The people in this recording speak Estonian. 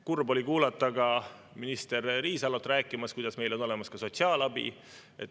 Kurb oli kuulata ka minister Riisalot rääkimas, kuidas meil on olemas ka sotsiaalabi.